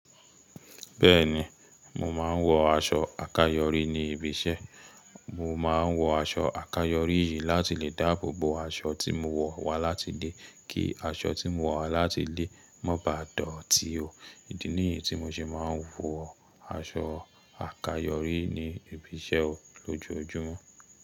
Bẹ́ẹ̀ni, mo máa ń wọ aṣọ àkayòrí ní ibi iṣẹ́. Mo máa ń wọ aṣọ àkayòrí yìí láti lè dáàbò bo aṣọ tí mo wọ̀ wá láti ilé kí aṣọ tí mo wọ̀ wá láti ilé má baà dọ̀tí o. Ìdí nìyí tí mo ṣe máa ń wọ aṣọ àkayòrí ní ibi iṣẹ́ lójoojúmọ́.